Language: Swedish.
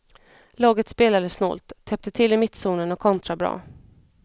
Laget spelade snålt, täppte till i mittzonen och kontrade bra.